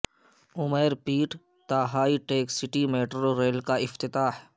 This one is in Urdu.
امیر پیٹ تا high tech city metro rail کا افتتاح